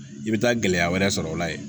I bɛ taa gɛlɛya wɛrɛ sɔrɔ o la yen